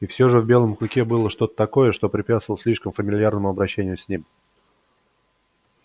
и всё же в белом клыке было что-то такое что препятствовало слишком фамильярному обращению с ним